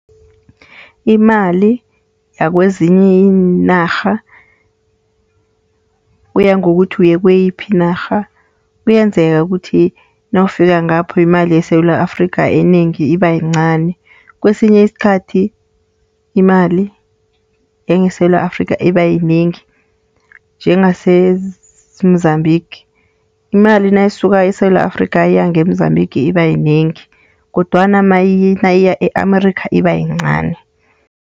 Imali yakwezinye iinarha kuya ngokuthi uye kuyiphi inarha. Kuyenzeka ukuthi nawufika ngapho imali yeSewula Afrika enengi iba yincani. Kwesinye isikhathi imali yangeSewula Afrikh iba yinengi njengase-Mozambique imali nayisuka eSewula Afrika iyange-Mozambique iba yinengi, kodwana nayiye-Amerika iba yincani.